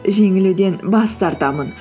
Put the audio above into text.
жеңілуден бас тартамын